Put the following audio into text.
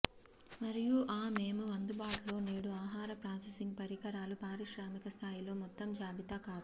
మరియు ఆ మేము అందుబాటులో నేడు ఆహార ప్రాసెసింగ్ పరికరాలు పారిశ్రామిక స్థాయిలో మొత్తం జాబితా కాదు